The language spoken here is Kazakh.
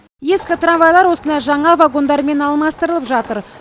ескі трамвайлар осындай жаңа вагондармен алмастырылып жатыр